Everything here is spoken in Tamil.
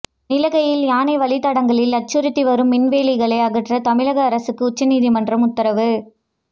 நீலகியில் யானை வழித்தடங்களில் அச்சுறுத்தி வரும் மின்வேலிகளை அகற்ற தமிழக அரசுக்கு உச்சநீதிமன்றம் உத்தரவு